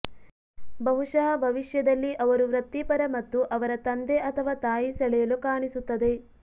ಬಹುಶಃ ಭವಿಷ್ಯದಲ್ಲಿ ಅವರು ವೃತ್ತಿಪರ ಮತ್ತು ಅವರ ತಂದೆ ಅಥವಾ ತಾಯಿ ಸೆಳೆಯಲು ಕಾಣಿಸುತ್ತದೆ